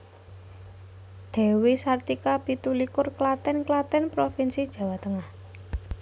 Dewi Sartika pitu likur Klaten Klaten provinsi Jawa Tengah